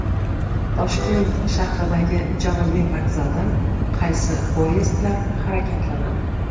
Toshkent shahridagi Janubiy vokzaldan qaysi poyezdlar harakatlanadi?